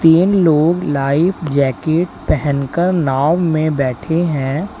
इनलोग life jacket पहन कर नाव में बैठे हैं।